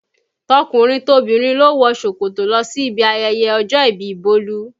Tọkùnrin tobìnrin ló wọ ṣòkòtò lọ sí ibi ayẹyẹ ọjọ́ ìbí Bolu